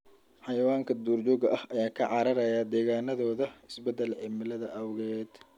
Xayawaanka duurjoogta ah ayaa ka cararaya deegaannadooda isbedelka cimilada awgeed.